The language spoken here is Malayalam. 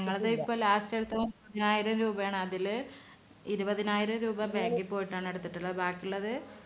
ഞങ്ങൾടെ ഇപ്പോ last എടുത്തതും പതിനായിരം രൂപയാണ് അതില് ഇരുപതിനായിരം രൂപ bank ൽ പോയിട്ടാണ് എടുത്തിട്ടുള്ളത്. ബാക്കിയുള്ളത്